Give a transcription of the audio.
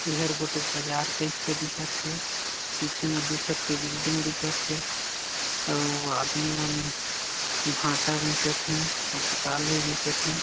एहर गोटेक बाजार टाइप से दिखत हे पीछे म दूसर के बिल्डिंग मन दिखत हे अउ आदमी मन भाटा बेचत हे अउ पताल भी बेचत हे।